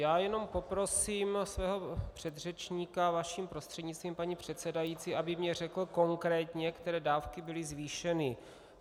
Já jenom poprosím svého předřečníka, vaším prostřednictvím, paní předsedající, aby mně řekl konkrétně, které dávky byly zvýšeny.